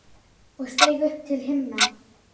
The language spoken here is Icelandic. og steig upp til himna